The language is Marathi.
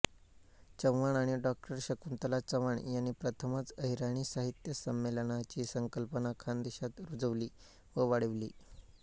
चव्हाण आणि डॉ शकुंतला चव्हाण यांनी प्रथमच अहिराणी साहित्य संमेलनाची संकल्पना खानदेशात रुजवली व वाढविली